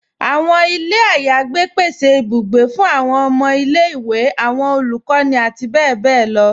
Awọn ilẹ̀ ayégbẹ̀ pèsè ìbùgbẹ̀ fún awọn ọmọ ilẹ̀-iwe, awọn olukọni, àti bẹbẹ̀ lọ